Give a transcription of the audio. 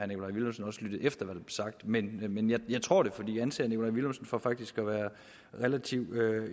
nikolaj villumsen også lyttede efter hvad der sagt men jeg tror det for jeg anser herre nikolaj villumsen for faktisk at være relativt